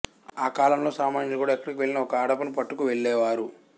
ఆకాలంలో సామాన్యులు కూడా ఎక్కడకువెళ్ళినా ఒక అడపను పట్టుకు వెళ్ళేవారు